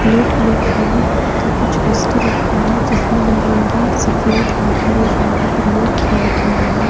Plate में खाने का कुछ वस्तु रखा है जिसमें नंगी सफेद और हरे रंग का प्रयोग किया गया है।